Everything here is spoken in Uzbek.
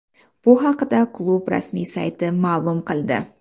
Bu haqda klub rasmiy sayti ma’lum qildi .